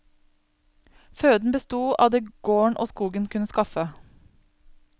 Føden besto av det gården og skogen kunne skaffe.